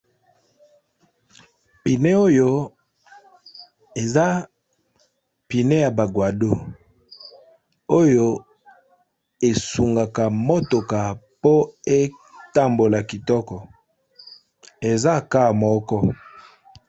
Pine oyo eza pine ya ba guado oyo esungaka motoka po etambola kitoko, eza ka moko.